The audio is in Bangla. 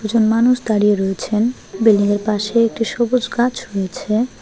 একজন মানুষ দাঁড়িয়ে রয়েছেন বিল্ডিংয়ের পাশে একটি সবুজ গাছ রয়েছে।